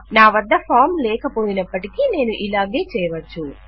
నా వద్ద ఫాం లేకపోయినప్పటికీ నేను ఇలాగే చేయవచ్చు